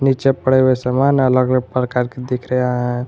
नीचे पड़े हुए सामान अलग अलग प्रकार के दिख रहा है।